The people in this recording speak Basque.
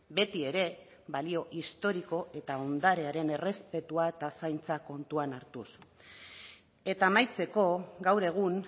betiere balio historiko eta ondarearen errespetua eta zaintza kontutan hartuz eta amaitzeko gaur egun